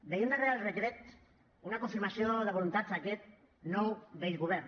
veiem darrere el decret una confirmació de voluntat d’aquest nou vell govern